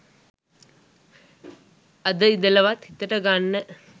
අද ඉඳලවත් හිතට ගන්න